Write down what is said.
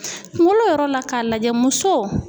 Kunkolo yɔrɔ la k'a lajɛ muso.